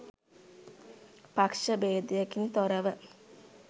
පක්ෂ බේදයකින් තොරව